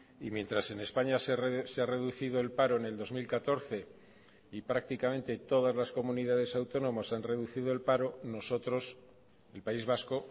y mientras en españa se ha reducido el paro en el dos mil catorce y prácticamente todas las comunidades autónomas han reducido el paro nosotros el país vasco